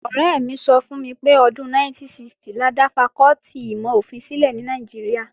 Ọ̀rẹ́ mi sọ fún mi pé ọdún 1960 la dá fakọ́tì ìmọ̀-ofin sílẹ̀ ní Nàìjíríà